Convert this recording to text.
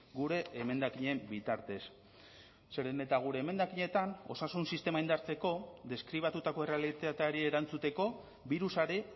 gure emendakinen bitartez zeren eta gure emendakinetan osasun sistema indartzeko deskribatutako errealitateari erantzuteko birusari